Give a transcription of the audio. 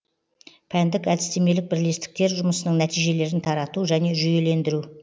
пәндік әдістемелік бірлестіктер жұмысының нәтижелерін тарату және жүйелендіру